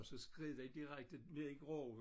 Og så skred han direkte ned i grøften